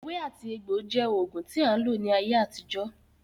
Ewé àti egbò jẹ́ oògùn tí a ń lò ní ayé àtijọ́